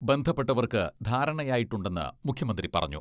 ബന്ധപ്പെട്ടവർക്ക് ധാരണയായിട്ടുണ്ടെന്ന് മുഖ്യമന്ത്രി പറഞ്ഞു.